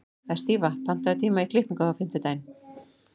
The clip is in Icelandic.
Estiva, pantaðu tíma í klippingu á fimmtudaginn.